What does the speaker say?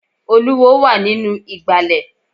Olúwo wà nínú ìgbàlẹ̀.